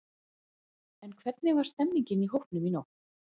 En hvernig var stemningin í hópnum í nótt?